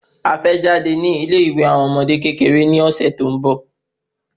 A fẹ́ jáde ni ile ìwé àwọn ọmọdé kékeré ni ọ̀sẹ̀ tó ń bọ